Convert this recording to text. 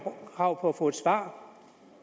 krav på at få et svar